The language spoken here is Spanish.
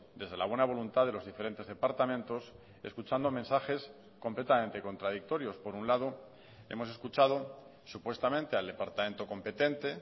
desde la buena voluntad de los diferentes departamentos escuchando mensajes completamente contradictorios por un lado hemos escuchado supuestamente al departamento competente